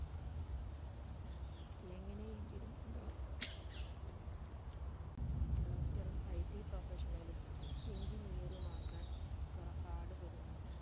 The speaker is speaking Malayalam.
എങ്ങനെ എങ്കിലും എന്താ doctor ഉം ITproffessional ഉം engineer ഉം ആകാൻ പൊറ പാട് പെടുന്നു